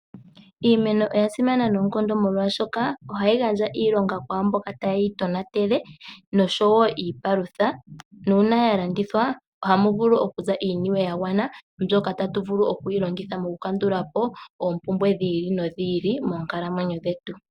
Iimeno oya simana noonkondo molwashoka oha yi gandja iilonga kwaamboka taye yi tonatele noshowo iipalutha nuuna ya landithwa oha mu vulu okuza iiniwe ya gwana mbyoka tatu vulu okwiilongitha mokukandulapo oompumbwe dhiili nodhiili moonkalamwenyo dhetu.